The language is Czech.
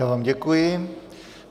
Já vám děkuji.